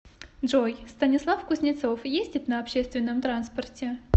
джой станислав кузнецов ездит на общественном транспорте